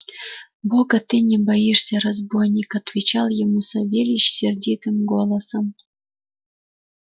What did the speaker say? бога ты не боишься разбойник отвечал ему савельич сердитым голосом